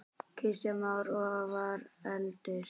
Kristján Már: Og hvað veldur?